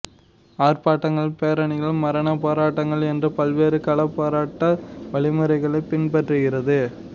ஆர்ப்பாட்டங்கள் பேரணிகள் மரணப் போராட்டங்கள் என்று பல்வேறு களப்போராட்ட வழிமுறைகளைப் பின்பற்றுகிறது